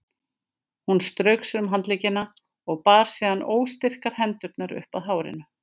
Hún strauk sér um handleggina og bar síðan óstyrkar hendurnar upp að hárinu.